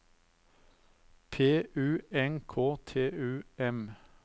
P U N K T U M